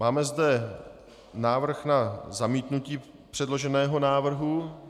Máme zde návrh na zamítnutí předloženého návrhu.